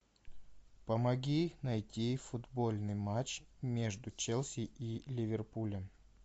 помоги найти футбольный матч между челси и ливерпулем